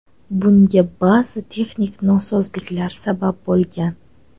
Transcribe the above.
Bunga ba’zi texnik nosozliklar sabab bo‘lgan.